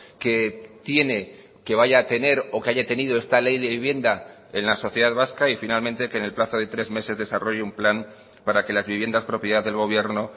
que tiene que vaya a tener o que haya tenido esta ley de vivienda en la sociedad vasca y finalmente que en el plazo de tres meses desarrolle un plan para que las viviendas propiedad del gobierno